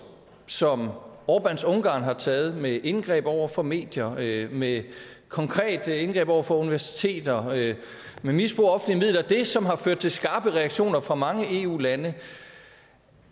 som orbáns ungarn har taget med indgreb over for medier med med konkrete indgreb over for universiteter med misbrug af offentlige midler det som har ført til skarpe reaktioner fra mange eu lande